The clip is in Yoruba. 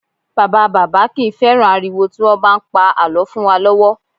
Bàbá bàbá kì í fẹ́ràn ariwo tí wọ́n bá ń pa àlọ́ fún wa lọ́wọ́